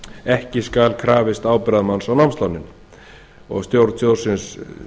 ekki skal krafist ábyrgðarmanns á námslánin stjórn sjóðsins